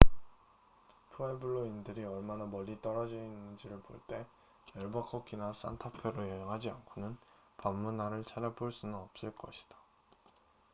푸에블로인들이 얼마나 멀리 떨어져 있는지를 볼 때 앨버커키나 산타 페로 여행하지 않고는 밤 문화를 찾아볼 수는 없을 것이다